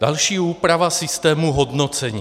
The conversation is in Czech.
Další, úprava systému hodnocení.